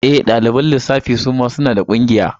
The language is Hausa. E, ɗaliban lissafi suma suna da ƙungiya.